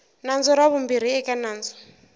nandzu ra vumbirhi eka nandzu